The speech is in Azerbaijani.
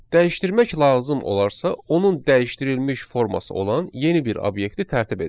Dəyişdirmək lazım olarsa, onun dəyişdirilmiş forması olan yeni bir obyekti tərtib edin.